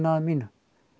að mínu